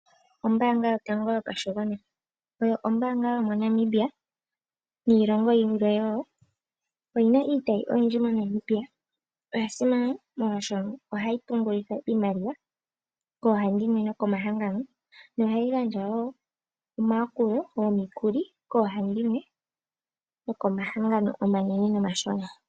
Ombaanga yotango yopashigwana oyo ombaanga yomoNamibia niilongo yilwe wo. Oyina iitayi oyindji moNamibia. Oya simana molwaashono ohayi pungulitha iimaliwa koohandimwe nokomahangano, yo ohayi gandja wo omayakulo gomikuli koohandimwe nokomahangano omanene nomashona.